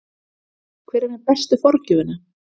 Hver er með bestu forgjöfina?